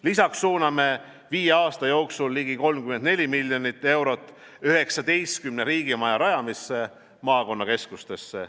Lisaks suuname viie aasta jooksul ligi 34 miljonit eurot 19 riigimaja rajamisse maakonnakeskustesse.